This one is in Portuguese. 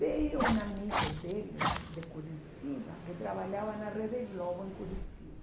Veio um amigo deles de Curitiba, que trabalhava na Rede Globo em Curitiba.